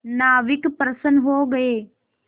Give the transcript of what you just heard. नाविक प्रसन्न हो गए